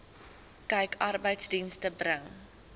kyk arbeidsdienste bring